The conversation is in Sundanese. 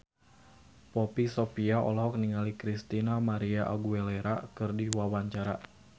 Poppy Sovia olohok ningali Christina María Aguilera keur diwawancara